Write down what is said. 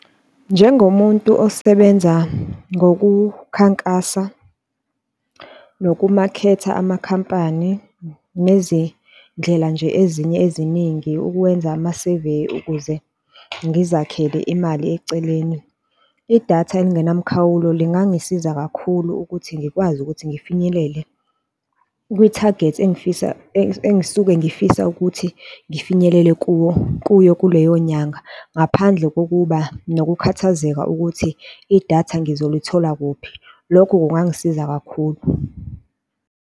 Njengomuntu osebenza ngokukhankasa, nokumakhetha amakhampani, nezindlela nje ezinye eziningi ukwenza ama-survey ukuze ngizakhele imali eceleni. Idatha elingenamkhawulo lingangisiza kakhulu ukuthi ngikwazi ukuthi ngifinyelele kwithagethi engifisa engisuke ngifisa ukuthi ngifinyelele kuwo kuyo kuleyo nyanga ngaphandle kokuba nokukhathazeka ukuthi idatha ngizoluthola kuphi. Lokho kungangisiza kakhulu.